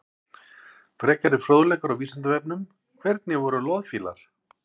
Frekari fróðleikur á Vísindavefnum: Hvernig voru loðfílar?